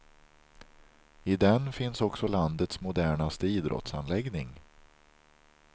I den finns också landets modernaste idrottsanläggning.